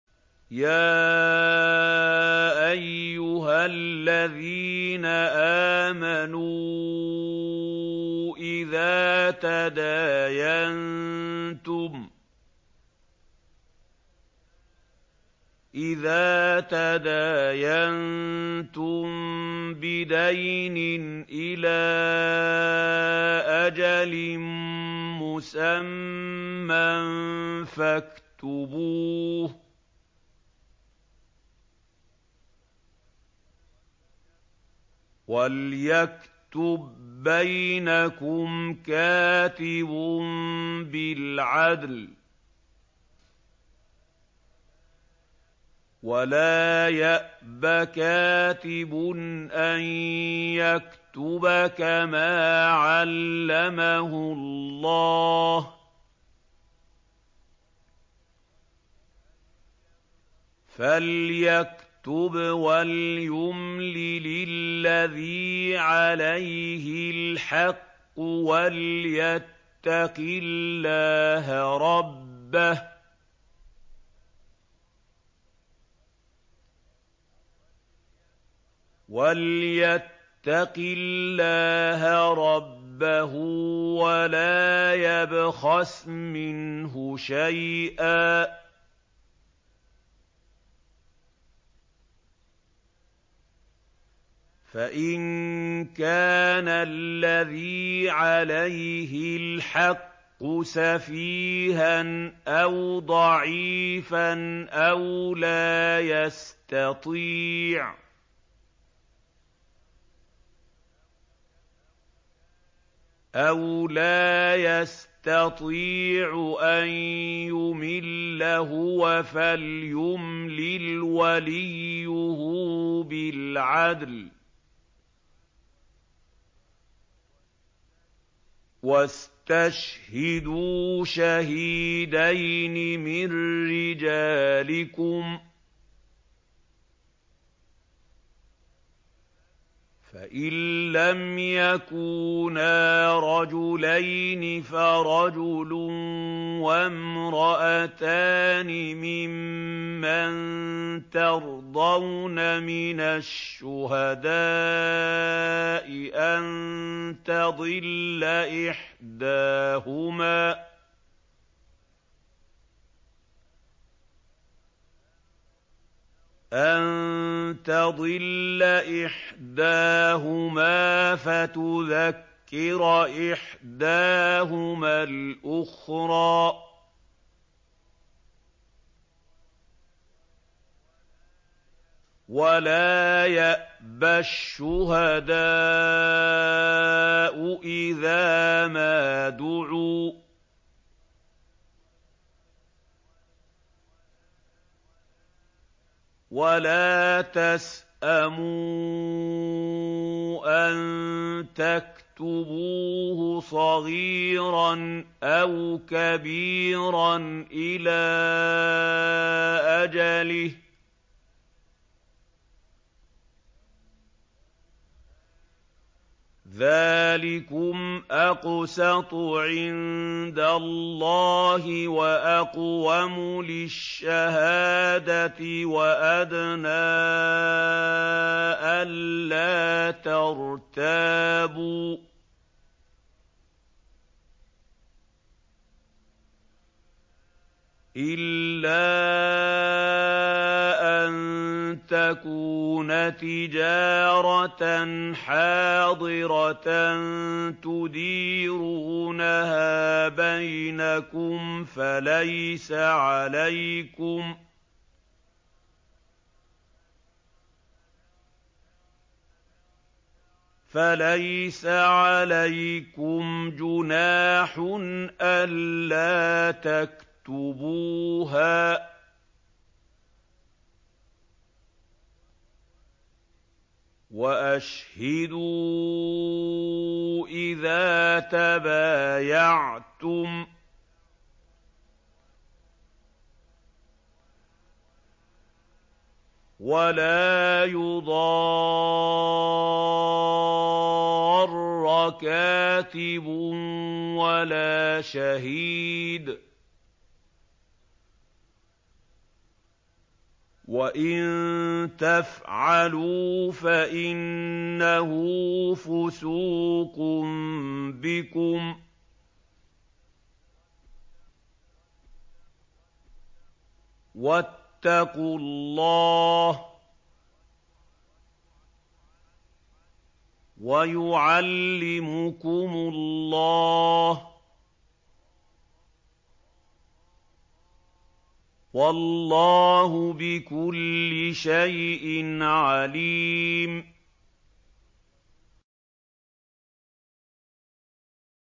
يَا أَيُّهَا الَّذِينَ آمَنُوا إِذَا تَدَايَنتُم بِدَيْنٍ إِلَىٰ أَجَلٍ مُّسَمًّى فَاكْتُبُوهُ ۚ وَلْيَكْتُب بَّيْنَكُمْ كَاتِبٌ بِالْعَدْلِ ۚ وَلَا يَأْبَ كَاتِبٌ أَن يَكْتُبَ كَمَا عَلَّمَهُ اللَّهُ ۚ فَلْيَكْتُبْ وَلْيُمْلِلِ الَّذِي عَلَيْهِ الْحَقُّ وَلْيَتَّقِ اللَّهَ رَبَّهُ وَلَا يَبْخَسْ مِنْهُ شَيْئًا ۚ فَإِن كَانَ الَّذِي عَلَيْهِ الْحَقُّ سَفِيهًا أَوْ ضَعِيفًا أَوْ لَا يَسْتَطِيعُ أَن يُمِلَّ هُوَ فَلْيُمْلِلْ وَلِيُّهُ بِالْعَدْلِ ۚ وَاسْتَشْهِدُوا شَهِيدَيْنِ مِن رِّجَالِكُمْ ۖ فَإِن لَّمْ يَكُونَا رَجُلَيْنِ فَرَجُلٌ وَامْرَأَتَانِ مِمَّن تَرْضَوْنَ مِنَ الشُّهَدَاءِ أَن تَضِلَّ إِحْدَاهُمَا فَتُذَكِّرَ إِحْدَاهُمَا الْأُخْرَىٰ ۚ وَلَا يَأْبَ الشُّهَدَاءُ إِذَا مَا دُعُوا ۚ وَلَا تَسْأَمُوا أَن تَكْتُبُوهُ صَغِيرًا أَوْ كَبِيرًا إِلَىٰ أَجَلِهِ ۚ ذَٰلِكُمْ أَقْسَطُ عِندَ اللَّهِ وَأَقْوَمُ لِلشَّهَادَةِ وَأَدْنَىٰ أَلَّا تَرْتَابُوا ۖ إِلَّا أَن تَكُونَ تِجَارَةً حَاضِرَةً تُدِيرُونَهَا بَيْنَكُمْ فَلَيْسَ عَلَيْكُمْ جُنَاحٌ أَلَّا تَكْتُبُوهَا ۗ وَأَشْهِدُوا إِذَا تَبَايَعْتُمْ ۚ وَلَا يُضَارَّ كَاتِبٌ وَلَا شَهِيدٌ ۚ وَإِن تَفْعَلُوا فَإِنَّهُ فُسُوقٌ بِكُمْ ۗ وَاتَّقُوا اللَّهَ ۖ وَيُعَلِّمُكُمُ اللَّهُ ۗ وَاللَّهُ بِكُلِّ شَيْءٍ عَلِيمٌ